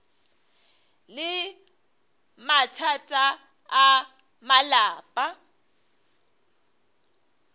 le mathata a malapa a